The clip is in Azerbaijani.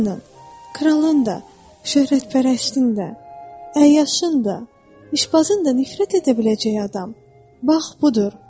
Hamının, kralın da, şöhrətpərəstin də, əyyaşın da, işbazın da nifrət edə biləcəyi adam bax budur.